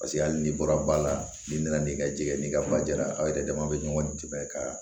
Paseke hali n'i bɔra ba la n'i nana n'i ka jɛgɛ ye n'i ka ba jara aw yɛrɛ dama bɛ ɲɔgɔn tigɛ ka